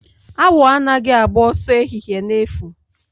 Awọ anaghị agba ọsọ ehihie na-efu